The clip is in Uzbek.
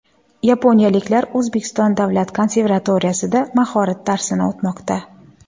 Yaponiyaliklar O‘zbekiston davlat konservatoriyasida mahorat darsini o‘tmoqda.